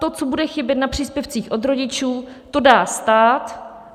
To, co bude chybět na příspěvcích od rodičů, to dá stát.